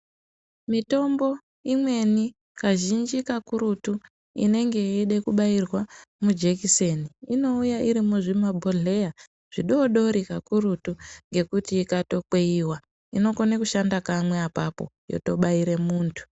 Mitombo imweni kazhinji kakurutu inenge yeide kubairwa mujikiseni inouya iri muzvimabhohleya zvodoodori kakurutu ngekuti ikatokweyiwa inokone kushanda kamwe apapo yotobaire muntu.